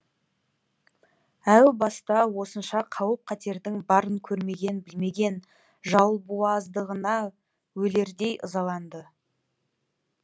әу баста осынша қауіп қатердің барын көрмеген білмеген өлердей ызаланады